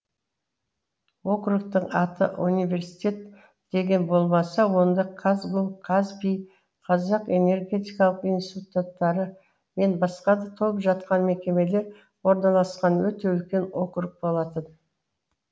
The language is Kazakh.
округтің аты университет деген болмаса онда казгу казпи қазақ энергетикалық институттары мен басқа да толып жатқан мекемелер орналасқан өте үлкен округ болатын